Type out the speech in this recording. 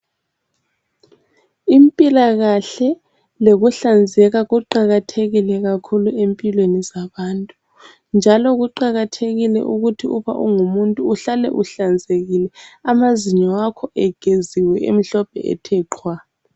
Impilakahle lokuhlanzeka kuqakathekile kakhulu empilweni zabantu njalo kuqakathekile ukuthu uba ungumuntu uhlale uhlanzekile amazinyo akho egiziwe emhlophe ethe qhwa.